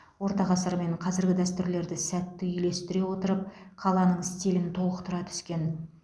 орта ғасыр мен қазіргі дәстүрлерді сәтті үйлестіре отырып қаланың стилін толықтыра түскен